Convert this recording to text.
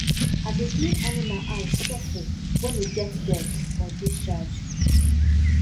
i dey clean animal eye sofri when e get dirt or discharge